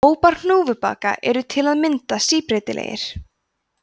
hópar hnúfubaka eru til að mynda síbreytilegir